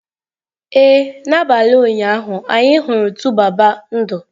Ee, n'abalị ụnyaahụ, anyị hụrụ 2baba ndụ.